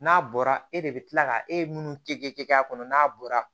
N'a bɔra e de bɛ kila ka e minnu kɛ k'a kɔnɔ n'a bɔra